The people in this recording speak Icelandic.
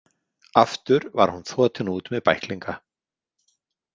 Aftur var hún þotin út með bæklinga.